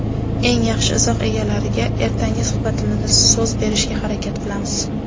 eng yaxshi izoh egalariga ertangi suhbatimizda so‘z berishga harakat qilamiz.